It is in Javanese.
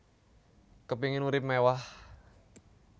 Kepingin urip mewah